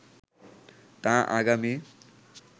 তা আগামী